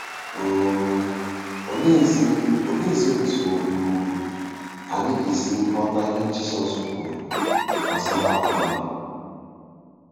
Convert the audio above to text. um Oleezi Oleezi otú um anyị ga-esi ghọta ihe Jizọs kwuru gbasara “ọgbọ a”?